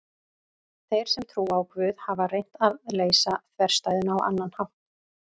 Þeir sem trúa á Guð hafa reynt að leysa þverstæðuna á annan hátt.